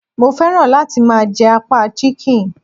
Mo féràn láti máa je apá Chicken